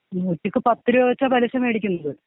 നൂറ്റിക്ക് പത്ത് രൂപ വെച്ച പലിശ വേടിക്കുന്നത്.